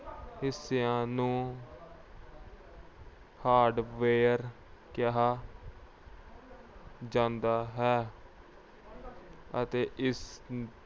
ਹਿੱਸਿਆਂ ਨੂੰ hardware ਕਿਹਾ ਜਾਂਦਾ ਹੈ ਅਤੇ ਇਸ